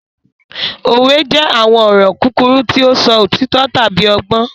Òwe jẹ àwọn ọ̀rọ̀ kúkúrú ti o sọ òtító tábi ọgbọ́n.